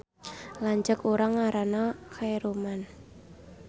Lanceuk urang ngaranna Khaeruman